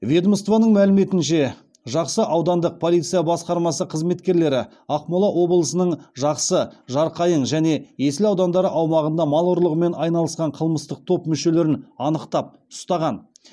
ведомствоның мәліметінше жақсы аудандық полиция басқармасы қызметкерлері ақмола облысының жақсы жарқайың және есіл аудандары аумағында мал ұрлығымен айналысқан қылмыстық топ мүшелерін анықтап ұстаған